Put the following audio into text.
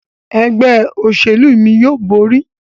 Ẹgbẹ́ òṣèlú mí yóò bóri.